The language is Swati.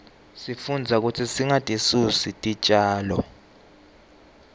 sifundza kutsi singatisusi titjalo